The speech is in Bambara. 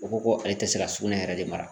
O ko ko ale tɛ se ka sugunɛ yɛrɛ de mara